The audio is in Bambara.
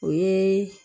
O ye